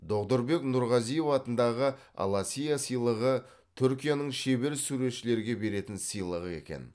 доғдұрбек нұрғазиев атындағы аласиа сыйлығы түркияның шебер суретшілерге беретін сыйлығы екен